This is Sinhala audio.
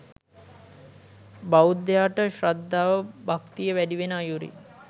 බෞද්ධයාට ශ්‍රද්ධාව භක්තිය වැඩිවෙන අයුරින්